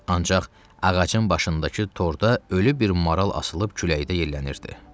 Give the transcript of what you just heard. Ancaq ağacın başındakı torda ölü bir maral asılıb küləkdə yellənirdi.